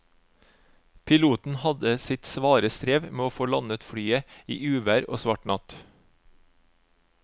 Piloten hadde sitt svare strev med å få landet flyet i uvær og svart natt.